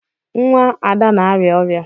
Nwa Ada na-arịa ọria.